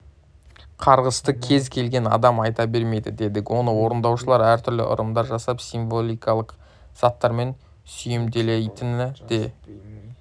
қарғысты кез келген адам айта бермейді дедік оны орындаушылар әртүрлі ырымдар жасап символикалық заттармен сүйемелдейтіні де